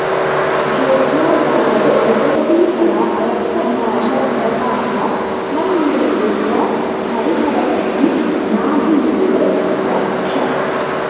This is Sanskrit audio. ज्योत्स्नाजाले उदयति सदा रक्तभाषप्रभासा त्वं मे रुद्र हरिहरतनुं नाभिमूले प्ररक्ष